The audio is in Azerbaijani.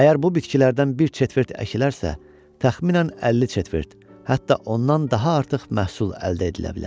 Əgər bu bitkilərdən bir çetvert əkilərsə, təxminən 50 çetvert, hətta ondan daha artıq məhsul əldə edilə bilər.